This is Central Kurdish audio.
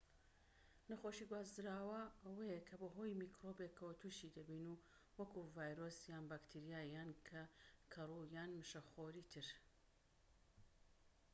نەخۆشیی گوازراوە ئەوەیە کە بەهۆی میکرۆبێکەوە توشی دەبین وەکو ڤایرۆس یان بەکتریا یان کەروو یان مشەخۆری تر